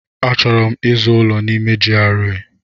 Achọrọ m ịzụ ụlọ n'ime GRA.